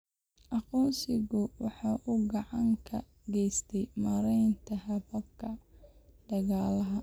Aqoonsigu waxa uu gacan ka geystaa maareynta hababka dhaqaalaha.